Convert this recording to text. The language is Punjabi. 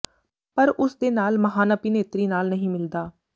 ਪਰ ਉਸ ਦੇ ਨਾਲ ਮਹਾਨ ਅਭਿਨੇਤਰੀ ਨਾਲ ਨਹੀਂ ਮਿਲਦਾ